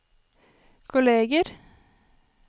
kolleger